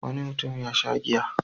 Wani mutum ya sha giya.